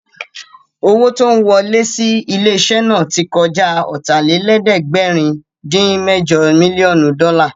Owó tó ń wọlẹ́ sí ilé-iṣẹ́ náà tí kọjá Ọ̀tàlélẹ̀ẹ́dẹ́gbẹ̀rin-dín-mẹ́jọ mílíọ̀nù dọ́là